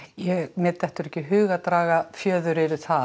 mér dettur ekki í hug að draga fjöður yfir það